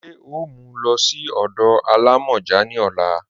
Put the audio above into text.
Ṣe o mú ú lọ sí ọdọ alámọ́jà ni ọ̀là?